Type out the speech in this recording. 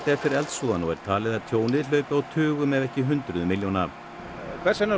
eftir eldsvoðann og talið er að tjónið hlaupi á tugum ef ekki hundruðum milljóna hvers vegna